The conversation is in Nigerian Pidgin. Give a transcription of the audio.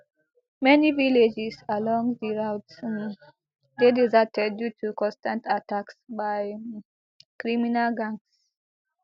many villages along di route um dey deserted due to constant attacks by um criminal gangs